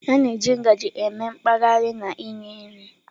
A na-eji ngaji eme mkpahari na inye nri.